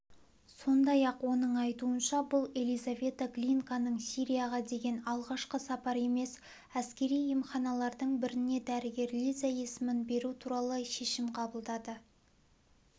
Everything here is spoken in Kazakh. сондай-ақ оның айтуынша бұл елизавета глинканың сирияға деген алғашқы сапары емес әскери емханалардың біріне дәрігер лиза есімін беру туралы шешім қабылдады